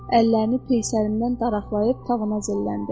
Əllərini peysərindən daraqlayıb tavana zilləndi.